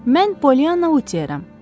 Mən Polyana Uteram.